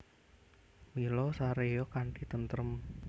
Mila saréya kanthi tentrem